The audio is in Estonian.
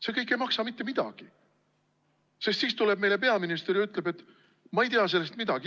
See kõik ei maksa mitte midagi, sest tuleb peaminister ja ütleb: "Ma ei tea sellest midagi.